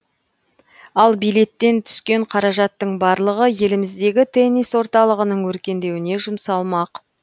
ал билеттен түскен қаражаттың барлығы еліміздегі теннис орталығының өркендеуіне жұмсалмақ